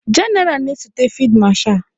Jenaral na-esote fid masha.